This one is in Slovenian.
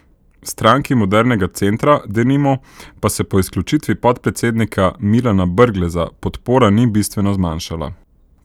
Stranki modernega centra, denimo, pa se po izključitvi podpredsednika Milana Brgleza podpora ni bistveno zmanjšala.